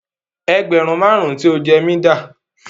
Ẹgbẹ̀rún mẹwàá tí o jẹ́ mí dà?